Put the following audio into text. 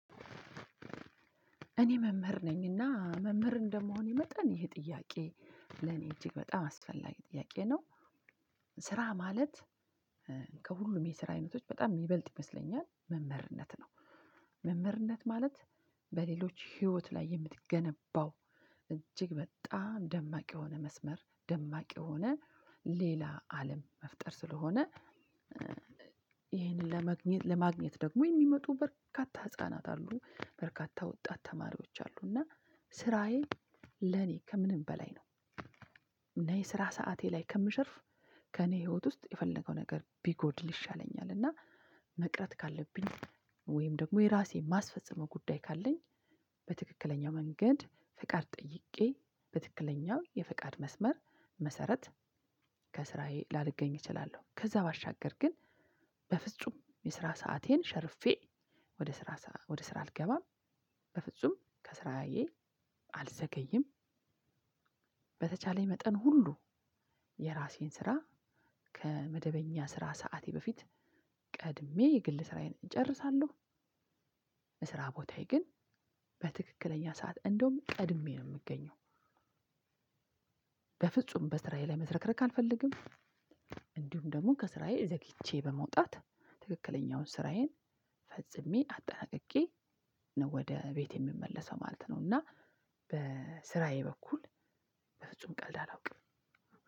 እኔ መምህር ነኝ እና መምህር እንደመሆኔ መጠን ይህ ጥያቄ ለኔ እጅግ በጣም አስፈላጊ ጥያቄ ነው። ስራ ማለት ከሁሉም የስራ አይነቶች በጣም የሚበልጥ ይመስለኛል መምህርነት ነው። መምህርነት ማለት በሌሎች ህይወት ላይ የምትገነባው እጅግ በጣም ደማቅ የሆነ መስመር ደማቅ የሆነ ሌላ አለም መፍጠር ስለሆነ። ይሄን ለመግኘት ለማግኘት ደግሞ የሚመጡ በርካታ ህፃናት አሉ በርካታ ወጣት ተማሪዎች አሉ እና ስራዬ ለኔ ከምንም በላይ ነው። እና የስራ ሰዓቴ ላይ ከምሸርፍ ከእኔ ህይወት ውስጥ የፈለገው ነገር ቢጎድል ይሻለኛል። እና መቅረት ካለብኝ ወይም ደግሞ የራሴን ማስፈጽመው ጉዳይ ካለኝ በትክክለኛ መንገድ ፍቃድ ጠይቄ በትክክለኛው የፍቃድ መስመር መሰረት ከስራዬ ላልገኝ እችላለሁ። ከዛ ባሻገር ግን በፍጹም የስራ ሰአቴን ሸርፌ ወደ ስራ ወደ ስራ አልገባም በፍጹም ከስራዬ አልዘገይም። በተቻለኝ መጠን ሁሉ የራሴን ስራ ከመደበኛ ስራ ሰዓቴ በፊት ቀድሜ የግል ስራዬን እጨርሳለሁ። ስራ ቦታዬ ግን በትክክለኛ ሰዓት እንደውም ቀድሜ ነው የምገኘው። በፍጹም በስራዬ ላይ መዝረክረክ አልፈልግም። እንዲሁም ደግሞ ከስራዬ ዘግይቼ በመውጣት ትክክለኛውን ስራዬን ፈጽሜ አጠናቅቄ ነው ወደ ቤት የምመለሰው ማለት ነው። እና በስራዬ በኩል በፍጹም ቀልድ አላውቅም።